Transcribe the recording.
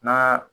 N'a